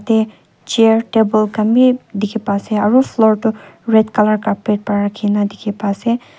eh chair table khan wii dukhi pai se aru floor tu red colour carpet para rakhi dikhi pai ase.